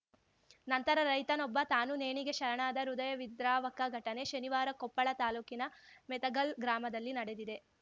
ನಂತರ ರೈತನೊಬ್ಬ ತಾನೂ ನೇಣಿಗೆ ಶರಣಾದ ಹೃದಯವಿದ್ರಾವಕ ಘಟನೆ ಶನಿವಾರ ಕೊಪ್ಪಳ ತಾಲೂಕಿನ ಮೆತಗಲ್‌ ಗ್ರಾಮದಲ್ಲಿ ನಡೆದಿದೆ